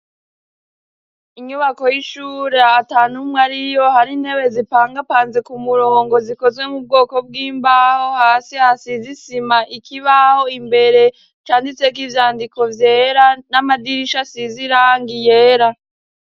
Inyubako y'ishuri atanumwe ariyo hari intebe zipangapanze ku murongo zikozwe mu bwoko bw'imbaho hasi hasize isima ikibaho imbere canditseko ivyandiko vyera n'amadirisha asize irangi yera.